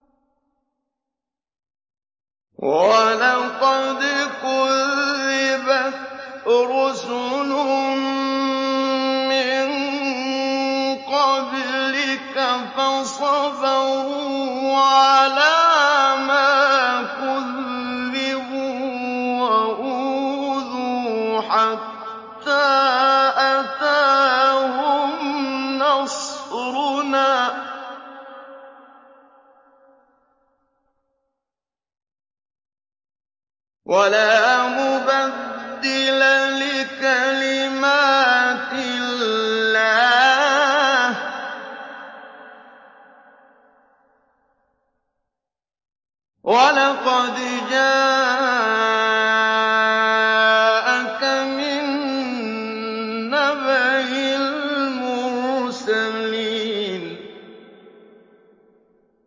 وَلَقَدْ كُذِّبَتْ رُسُلٌ مِّن قَبْلِكَ فَصَبَرُوا عَلَىٰ مَا كُذِّبُوا وَأُوذُوا حَتَّىٰ أَتَاهُمْ نَصْرُنَا ۚ وَلَا مُبَدِّلَ لِكَلِمَاتِ اللَّهِ ۚ وَلَقَدْ جَاءَكَ مِن نَّبَإِ الْمُرْسَلِينَ